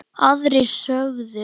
Aðrir sögðu